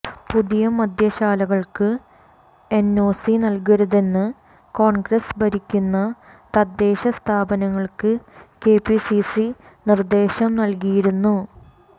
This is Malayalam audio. പുതിയ മദ്യശാലകള്ക്ക് എന്ഒസി നല്കരുതെന്ന് കോണ്ഗ്രസ് ഭരിക്കുന്ന തദ്ദേശ സ്ഥാപനങ്ങള്ക്ക് കെപിസിസി നിര്ദേശം നല്കിയിരുന്നു